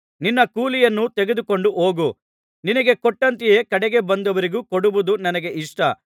ನಿನ್ನ ಕೂಲಿಯನ್ನು ತೆಗೆದುಕೊಂಡು ಹೋಗು ನಿನಗೆ ಕೊಟ್ಟಂತೆ ಕಡೆಗೆ ಬಂದವರಿಗೂ ಕೊಡುವುದು ನನ್ನ ಇಷ್ಟ